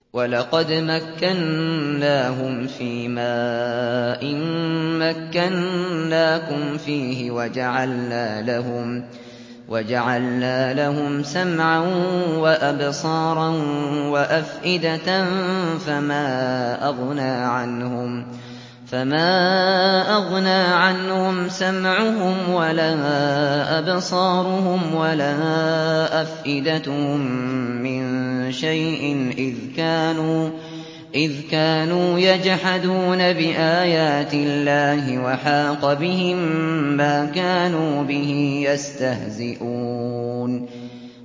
وَلَقَدْ مَكَّنَّاهُمْ فِيمَا إِن مَّكَّنَّاكُمْ فِيهِ وَجَعَلْنَا لَهُمْ سَمْعًا وَأَبْصَارًا وَأَفْئِدَةً فَمَا أَغْنَىٰ عَنْهُمْ سَمْعُهُمْ وَلَا أَبْصَارُهُمْ وَلَا أَفْئِدَتُهُم مِّن شَيْءٍ إِذْ كَانُوا يَجْحَدُونَ بِآيَاتِ اللَّهِ وَحَاقَ بِهِم مَّا كَانُوا بِهِ يَسْتَهْزِئُونَ